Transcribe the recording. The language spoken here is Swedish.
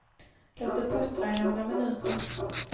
Låt det puttra i några minuter.